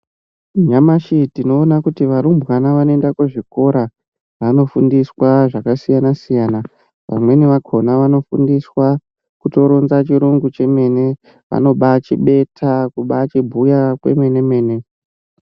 Nyamashi tinoona kuti varumbwana vanoenda kuzvikora vanofundiswa zvakasiyana-siyana. Vamweni vakona vanofundiswa kutoronza chirungu chemene, vanobachibeta, kubachibhuya kwemene-mene.